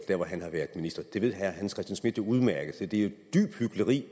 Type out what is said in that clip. der hvor han har været minister det ved herre hans christian schmidt udmærket så det er jo dybt hykleri